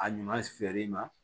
A ɲuman feereli ma